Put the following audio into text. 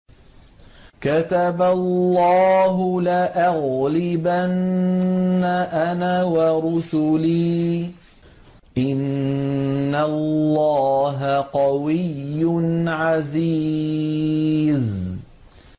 كَتَبَ اللَّهُ لَأَغْلِبَنَّ أَنَا وَرُسُلِي ۚ إِنَّ اللَّهَ قَوِيٌّ عَزِيزٌ